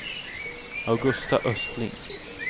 Augusta Östling